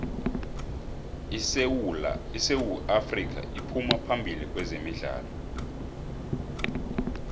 isewu afrika iphuma phambili kwezemidlalo